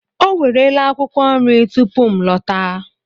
O werela akwụkwọ nri tupu m lọta.